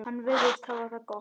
Hann virðist hafa það gott.